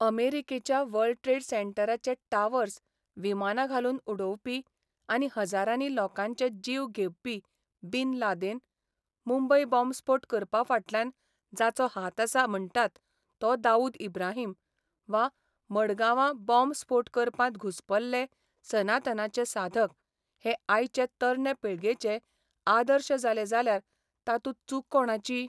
अमेरिकेच्या world trade सेंटराचे towers विमानां घालून उडोवपी आनी हजारांनी लोकांचे जीव घेबपी बिन लादेन, मुंबय बाँब स्फोट करपा फाटल्यान जाचो हाता आसा म्हणटात तो दाऊद इब्राहीम वा मडगांवां बॉब स्फोट करपांत घुस्पल्ले सनातनाचे साधक हे आयचे तरणे पिळगेचे आदर्श जाले जाल्यार तातूंत चूक कोणाची?